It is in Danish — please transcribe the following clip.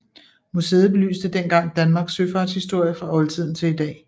Museet belyste dengang Danmarks søfartshistorie fra oldtiden til i dag